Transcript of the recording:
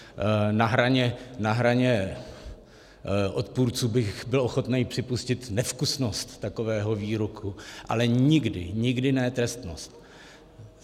Na hraně odpůrců bych byl ochoten připustit nevkusnost takového výroku, ale nikdy, nikdy ne trestnost.